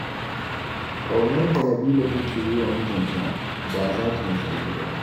Ƙaunar da Nabila take yi wa mijinta ba za ta misaltu ba.